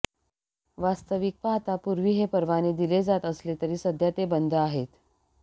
वास्तविक पाहता पूर्वी हे परवाने दिले जात असले तरी सध्या ते बंद आहेत